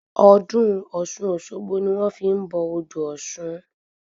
Ọdún ọ̀ṣun-òṣogbo ni wọn fi n bọ odò ọ̀ṣun